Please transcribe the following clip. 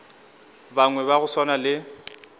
bangwe ba go swana le